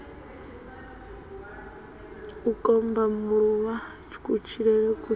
u kombamulula kutshilele ku si